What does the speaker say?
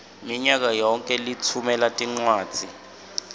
minyakayonkhe litfumela tincwadzi